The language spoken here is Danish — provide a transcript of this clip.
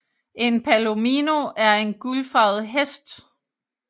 En palomino er en guldfarvet hest